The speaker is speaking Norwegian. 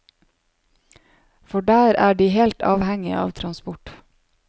For der er de helt avhengige av transport.